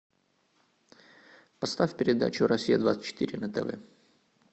поставь передачу россия двадцать четыре на тв